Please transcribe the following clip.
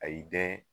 A y'i dɛn